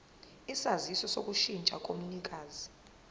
isaziso sokushintsha komnikazi